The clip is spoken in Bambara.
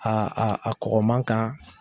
Aa a a kɔrɔma kan